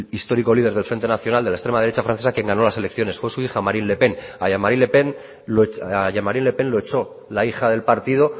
histórico líder del frente nacional de la extrema derecha francesa quien ganó las elecciones fue su hija marine le pen a jean marie le pen lo echó la hija del partido